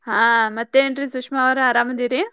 ಹಾ ಮತ್ತೇನ್ರೀ ಸುಷ್ಮಾ ಅವ್ರ್ ಆರಾಮದಿರಿ?